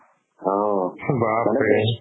অ, মানে তেজ